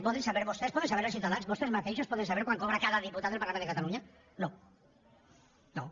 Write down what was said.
poden saber vostès poden saber els ciutadans vostès mateixos poden saber quant cobra cada diputat del parlament de catalunya no no